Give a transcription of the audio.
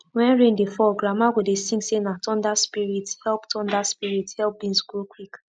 when rain dey fall grandma go dey sing say na thunder spirits help thunder spirits help beans grow quick